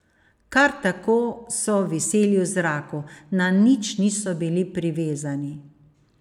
Kar tako so viseli v zraku, na nič niso bili privezani.